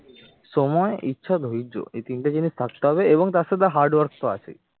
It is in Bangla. সময় ইচ্ছা ধৈর্য এই তিনটে জিনিস থাকতে হবে এবং তার সাথে hard work তো আছেই